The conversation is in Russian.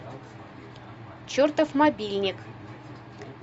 чертов мобильник